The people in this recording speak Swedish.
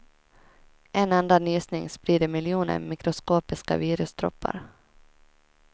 En enda nysning sprider miljoner mikroskopiska virusdroppar.